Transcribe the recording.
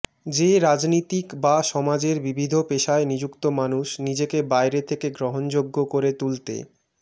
যে রাজনীতিক বা সমাজের বিবিধ পেশায় নিযুক্ত মানুষ নিজেকে বাইরে থেকে গ্রহণযোগ্য করে তুলতে